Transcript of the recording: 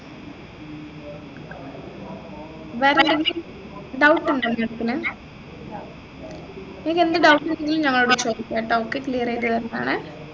വേറെന്തെങ്കിലും doubt ഉണ്ടോ നിങ്ങൾക്ക് maam നിങ്ങക്ക് എന്ത് doubt ഉണ്ടെങ്കിലും നമ്മളോട് ചോദിക്കാട്ടോ ഒക്കെ clear ചെയ്തരുന്നതാണെ